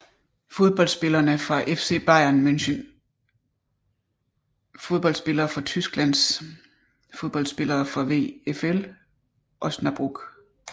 Fodboldspillere fra FC Bayern München Fodboldspillere fra Tyskland Fodboldspillere fra VfL Osnabrück